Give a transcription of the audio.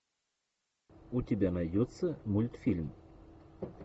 у тебя найдется мультфильм